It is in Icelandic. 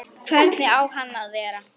Hvernig á hann að vera?